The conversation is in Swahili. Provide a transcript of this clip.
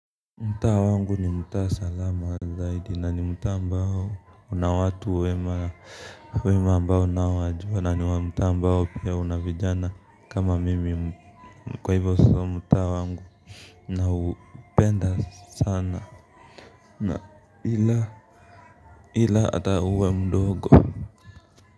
Mtaa wangu ni mtaa salama zaidi na ni mtaa ambao una watu wema wema ambao na wajua na ni mtaa ambao pia una vijana kama mimi kwa hivo so mtaa wangu naupenda sana na ila ila ata uwe mdogo.